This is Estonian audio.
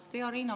Hea Riina!